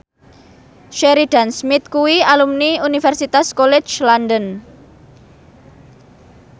Sheridan Smith kuwi alumni Universitas College London